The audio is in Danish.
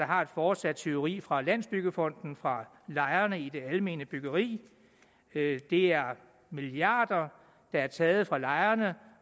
har et fortsat tyveri fra landsbyggefonden fra lejerne i det almene byggeri det er milliarder der er taget fra lejerne